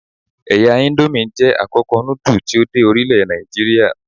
Ẹ̀ya íńdómì jẹ́ àkọ́kọ́ núdù tí ó dé orílẹ̀ Nàìjíríà.